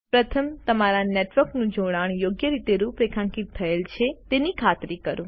પ્રથમ તમારા નેટવર્કનું જોડાણ યોગ્ય રીતે રૂપરેખાંકિત થયેલ છે તેની ખાતરી કરો